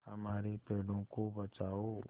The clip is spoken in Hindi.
हमारे पेड़ों को बचाओ